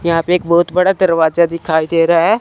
यहां पे एक बहोत बड़ा दरवाजा दिखाई दे रहा है।